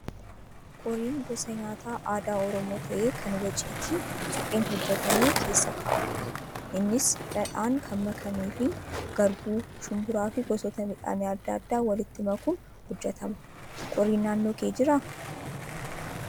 Qoriin gosa nyaata aadaa oromoo ta'ee kan waciitii supheen hojjatame keessa kaa'amudha. Innis dhadhaan kan makamee fi garbuu, shumburaa fi gosoota midhaanii adda addaa walitti makuun hojjatama. Qoriin naannoo kee jiraa?